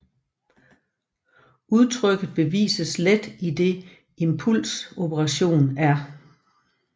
Udtrykket bevises let idet Impuls operatoren er